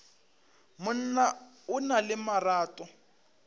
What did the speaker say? monna o na le marato